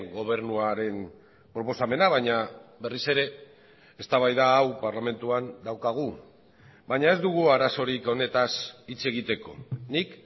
gobernuaren proposamena baina berriz ere eztabaida hau parlamentuan daukagu baina ez dugu arazorik honetaz hitz egiteko nik